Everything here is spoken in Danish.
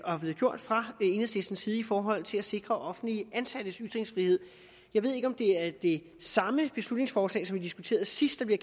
og er blevet gjort fra enhedslistens side i forhold til at sikre offentligt ansattes ytringsfrihed jeg ved ikke om det er det samme beslutningsforslag som vi diskuterede sidst der